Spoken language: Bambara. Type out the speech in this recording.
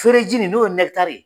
Fereji nin n'o ye